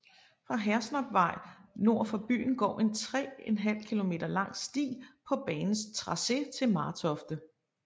Fra Hersnapvej nord for byen går en 3½ km lang sti på banens tracé til Martofte